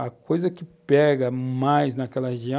A coisa que pega mais naquela região